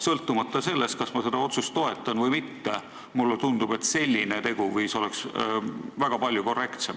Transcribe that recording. Sõltumata sellest, kas ma seda otsust toetan või mitte, mulle tundub, et selline teguviis oleks palju korrektsem.